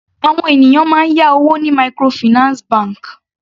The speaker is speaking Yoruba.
Àwọn ènìyàn máa ń yá owó ní microfinance bank.